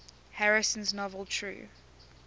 harrison's novel true